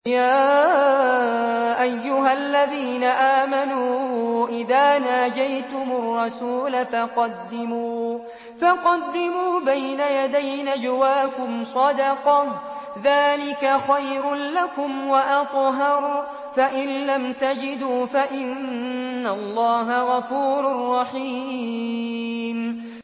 يَا أَيُّهَا الَّذِينَ آمَنُوا إِذَا نَاجَيْتُمُ الرَّسُولَ فَقَدِّمُوا بَيْنَ يَدَيْ نَجْوَاكُمْ صَدَقَةً ۚ ذَٰلِكَ خَيْرٌ لَّكُمْ وَأَطْهَرُ ۚ فَإِن لَّمْ تَجِدُوا فَإِنَّ اللَّهَ غَفُورٌ رَّحِيمٌ